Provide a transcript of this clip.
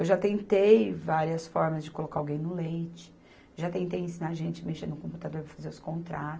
Eu já tentei várias formas de colocar alguém no leite, já tentei ensinar gente a mexer no computador para fazer os contra